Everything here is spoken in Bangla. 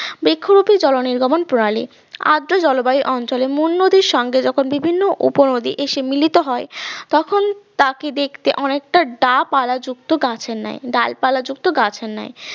বৃক্ষরুপি জলনির্গমন প্রণালী আদ্র জলবায়ু অঞ্চলে মূল নদীর সঙ্গে যখন বিভিন্ন উপনদী এসে মিলিত হয় তখন তাকে দেখতে অনেকটা ডাব আলা যুক্ত গাছের ন্যায় ডালপালা যুক্ত গাছের ন্যায়